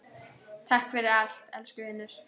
Takk fyrir allt, elsku vinur.